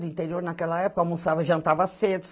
No interior, naquela época, almoçava, jantava cedo.